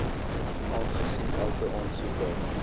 aangesien elke aansoeker